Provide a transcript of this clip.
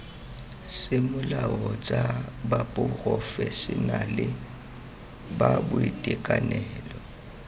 semolao tsa baporofešenale ba boitekanelo